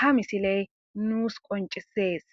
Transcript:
ha misiley nuus qoncisees